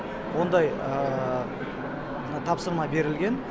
ондай тапсырма берілген